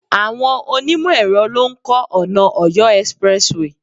Àwọn onimo ẹ̀rọ lo ń ko ona Ọ̀yọ́ expressway